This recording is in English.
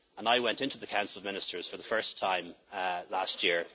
Ministers. I went into the Council of Ministers for the first time